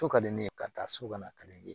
So ka di ne ye ka taa so ka na ka di ne ye